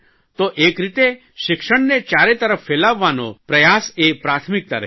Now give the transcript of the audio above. તો એક રીતે શિક્ષણને ચારે તરફ ફેલાવવાનો પ્રયાસ એ પ્રાથમિકતા રહી